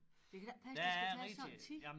Det kan da ikke passe det skal tage så lang tid